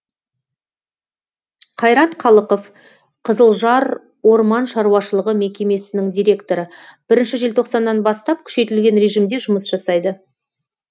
қайрат қалықов қызылжар орман шаруашылығы мекемесінің директоры бірінші желтоқсаннан бастап күшейтілген режимде жұмыс жасайды